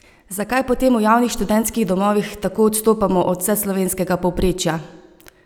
Zakaj potem v javnih študentskih domovih tako odstopamo od vseslovenskega povprečja?